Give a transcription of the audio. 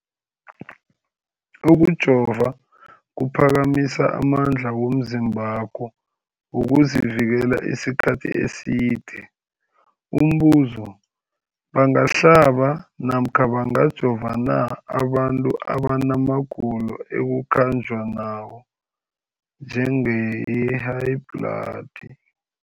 Ukujova kuphakamisa amandla womzimbakho wokuzivikela isikhathi eside. Umbuzo, bangahlaba namkha bangajova na abantu abana magulo ekukhanjwa nawo, njengehayibhladi?